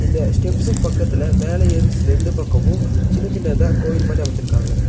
இந்த ஸ்டெப்ஸ் க்கு பக்கத்துல மேல ஏறுஸ் ரெண்டு பக்கமு சின்ன சின்னதா கோயில் மாரி அமச்சுருக்காங்க.